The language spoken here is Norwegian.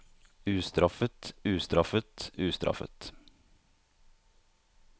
ustraffet ustraffet ustraffet